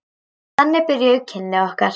Þannig byrjuðu kynni okkar.